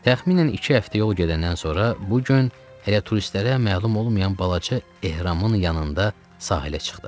Təxminən iki həftə yol gedəndən sonra bu gün hələ turistlərə məlum olmayan balaca ehramın yanında sahilə çıxdıq.